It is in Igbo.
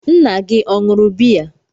Nna gị ọ ṅụrụ biya?